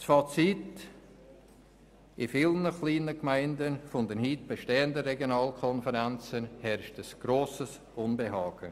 Fazit: In vielen kleinen Gemeinden der heute bestehenden Regionalkonferenzen herrscht ein grosses Unbehagen.